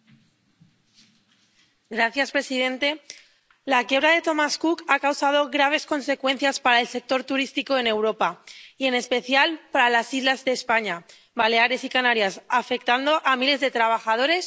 Señor presidente, la quiebra de Thomas Cook ha tenido graves consecuencias para el sector turístico en Europa y, en especial, para las islas de España —Baleares y Canarias— y ha afectado a miles de trabajadores, turistas y empresarios.